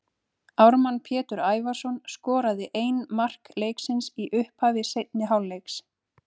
Ármann Pétur Ævarsson skoraði ein mark leiksins í upphafi seinni hálfleiks.